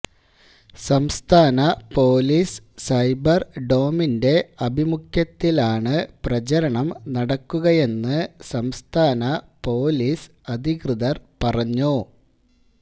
സംസ്ഥാന പോലീസ് സൈബർഡോമിന്റെ ആഭിമുഖ്യത്തിലാണ് പ്രചരണം നടക്കുകയെന്ന് സംസ്ഥാന പോലീസ് അധികൃതർ പറഞ്ഞു